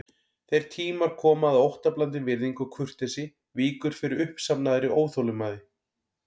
Þeir tímar koma að óttablandin virðing og kurteisi víkur fyrir uppsafnaðri óþolinmæði.